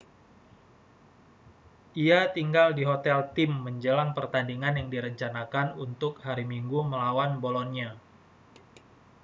ia tinggal di hotel tim menjelang pertandingan yang direncanakan untuk hari minggu melawan bolonia